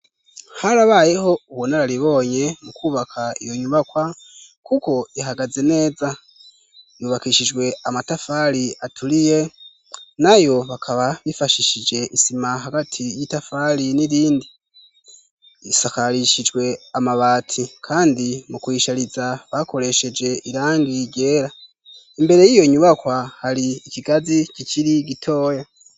Har abayeho uwonararibonye mu kwubaka iyo nyubakwa, kuko ihagaze neza yubakishijwe amatafali aturiye na yo bakaba bifashishije isima hagati y'itafali n'irindi isakarishijwe amabati, kandi mu kuishariza bakoresehe eje irangi gera imbere y'iyo nyubakwa hari ikigazi kiciri gitoya.